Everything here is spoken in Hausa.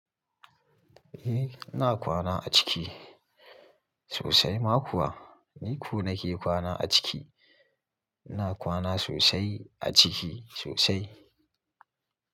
Eh ina kwana a ciki sosai, ma kuwa ni ko nake kwana a ciki. Ina kwana sosai a ciki sosai.